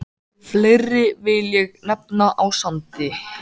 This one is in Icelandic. Fleiri vil ég nefna á Sandi.